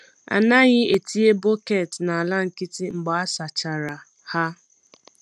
A naghị etinye bọket n’ala nkịtị mgbe a sachara ha.